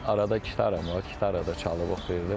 Arada gitaram var, gitara da çalıb oxuyurdum.